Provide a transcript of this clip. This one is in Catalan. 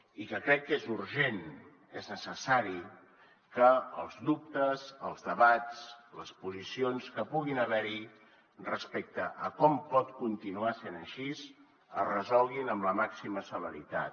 i que crec que és urgent és necessari que els dubtes els debats les posicions que puguin haver hi respecte a com pot continuar sent així es resolguin amb la màxima celeritat